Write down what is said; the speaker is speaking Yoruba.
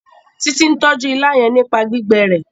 Titi n tọjú ìlà yén nípa gbígbé rẹ